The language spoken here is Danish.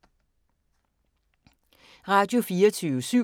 Radio24syv